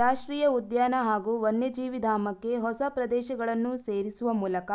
ರಾಷ್ಟ್ರೀಯ ಉದ್ಯಾನ ಹಾಗೂ ವನ್ಯಜೀವಿಧಾಮಕ್ಕೆ ಹೊಸ ಪ್ರದೇಶಗಳನ್ನು ಸೇರಿಸುವ ಮೂಲಕ